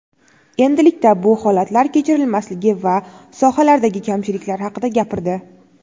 endilikda bu holatlar kechirilmasligi va sohalardagi kamchiliklar haqida gapirdi.